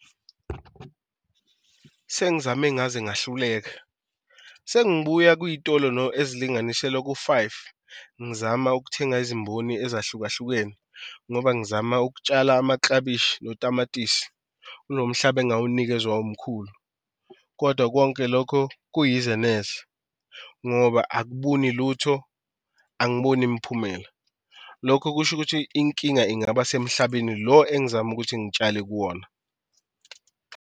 Sengizame ngaze ngahluleka sengibuya kwiy'tolo ezilinganiselwa ku-five ngizama ukuthenga izimboni ezahlukahlukene ngoba ngizama ukutshala amaklabishi notamatisi kulo mhlaba engawunikwa umkhulu, kodwa konke lokho kuyize neze ngoba akabuni lutho angiboni miphumela. Lokho kusho ukuthi inkinga ingaba semhlabeni lo engizama ukuthi ngitshale kuwona.